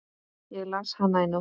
Ég las hana í nótt.